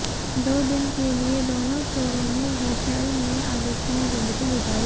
दो दिन के लिए दोनों चोरों ने होटेल में आलीशान जिंदगी गुजारी